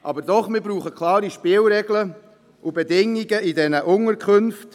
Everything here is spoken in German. Aber trotzdem: Wir brauchen klare Spielregeln und Bedingungen in diesen Unterkünften.